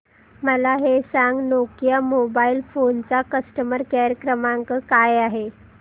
मला हे सांग नोकिया मोबाईल फोन्स चा कस्टमर केअर क्रमांक काय आहे